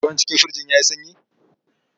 Ruwan cikin firijin ya yi sanyi?